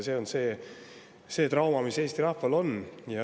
See on see trauma, mis Eesti rahval on.